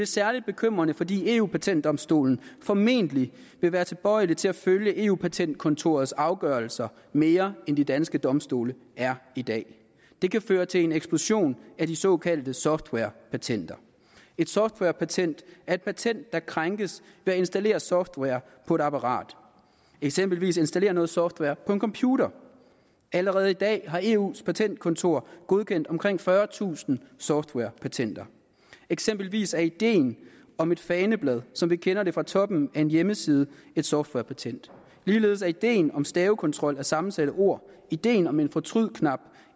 særlig bekymrende fordi eu patentdomstolen formentlig vil være tilbøjelig til at følge eu patentkontorets afgørelser mere end de danske domstole er i dag det kan føre til en eksplosion af de såkaldte softwarepatenter et softwarepatent er et patent der krænkes ved at installere software på et apparat eksempelvis installere software på en computer allerede i dag har eus patentkontor godkendt omkring fyrretusind softwarepatenter eksempelvis er ideen om et faneblad som vi kender fra toppen af en hjemmeside et softwarepatent ligeledes er ideen om stavekontrol af sammensatte ord ideen om en fortrydknap